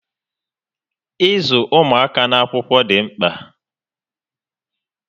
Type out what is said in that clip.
Ịzụ ụmụaka n'akwụkwọ dị mkpà